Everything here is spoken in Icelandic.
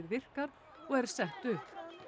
virkar og er sett upp